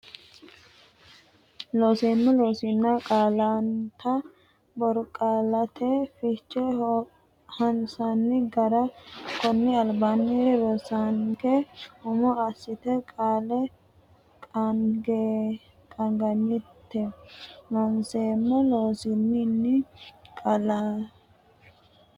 Looseemmo Loossinanni qaallannita borqaallate fiche hansanni gara konni albaanni rosanke umo assitine qaalla qaangannite Looseemmo Loossinanni qaallannita borqaallate fiche hansanni.